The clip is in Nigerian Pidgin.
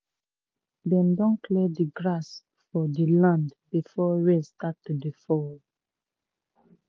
um dem don clear di grass for di land before rain start to dey fall.